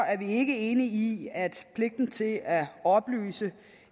er vi ikke enige i i at pligten til at oplyse